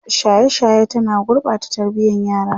shaye shaye ta na gurɓata tarbiyan yara